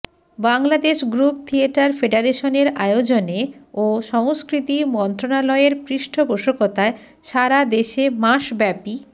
Bangladesh group theatre ফেডারেশনের আয়োজনে ও সংস্কৃতি মন্ত্রণালয়ের পৃষ্ঠপোষকতায় সারা দেশে মাসব্যাপী